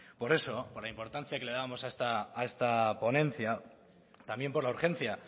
por eso por la importancia que la dábamos a esta ponencia también por la urgencia